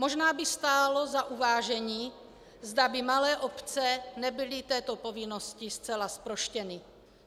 Možná by stálo za uvážení, zda by malé obce nebyly této povinnosti zcela zproštěny.